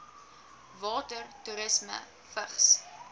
water toerisme vigs